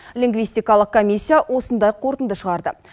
лингвистикалық комиссия осындай қорытынды шығарды